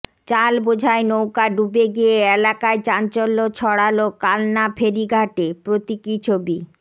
চাল বোঝাই নৌকা ডুবে গিয়ে এলাকায় চাঞ্চল্য ছড়ালো কালনা ফেরিঘাটে প্রতীকী ছবি